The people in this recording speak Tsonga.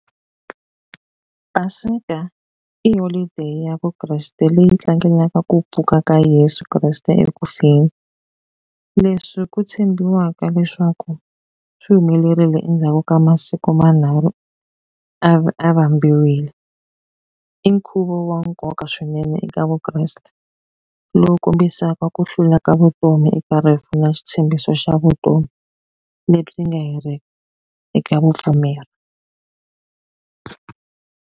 Paseka i holiday ya Vukreste leyi tlangelaka ku pfuka ka Yeso Kreste ekufeni leswi ku tshembiwaka leswaku swi humelerile endzhaku ka masiku manharhu a a vambiwile i nkhuvo wa nkoka swinene eka Vukreste lowu kombisaka ku hlula ka vutomi eka rifu na xitshembiso xa vutomi lebyi nga heriki eka vupfumeri.